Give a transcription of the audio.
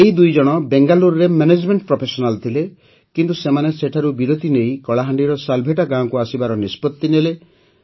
ଏହି ଦୁଇଜଣ ବେଙ୍ଗାଲୁରୁରେ ମେନେଜମେଣ୍ଟ ପ୍ରଫେସନାଲ୍ ଥିଲେ କିନ୍ତୁ ସେମାନେ ସେଠାରୁ ବିରତି ନେଇ କଳାହାଣ୍ଡିର ସାଲେଭଟା ଗାଁକୁ ଆସିବାର ନିଷ୍ପତ୍ତି ନେଲେ